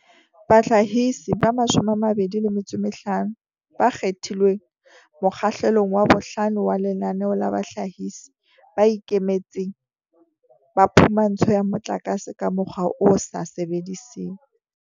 Bahlahisi ba 25 ba kgethilweng mokgahle long wa bohlano wa Lenaneo la Bahlahisi ba Ikemetseng ba Phumantsho ya Motlakase ka Mokgwa o sa Sebediseng